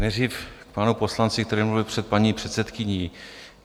Nejdřív k panu poslanci, který mluvil před paní předsedkyní.